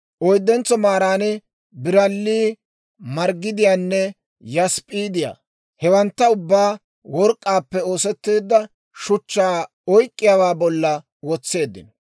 oyddentso maaran biralli, margidiyaanne yasp'p'iidiyaa. Hewantta ubbaa work'k'aappe oosetteedda shuchchaa oyk'k'iyaawaa bolla wotseeddino.